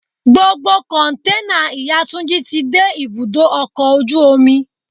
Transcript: Gbogbo Kọ̀ǹténà ìyá Túnjí ti dé ibùdó ọkọ̀ ojú omi.